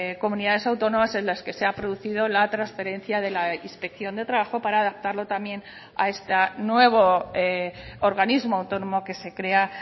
comunidades autónomas en las que se ha producido la transferencia de la inspección de trabajo para adaptarlo también a este nuevo organismo autónomo que se crea